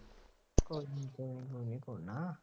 ਕੋਈ ਨਹੀਂ ਥੋੜ੍ਹੇ ਨਾ